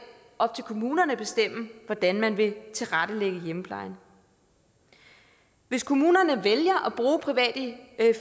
op til kommunerne at bestemme hvordan man vil tilrettelægge hjemmeplejen hvis kommunerne vælger at bruge private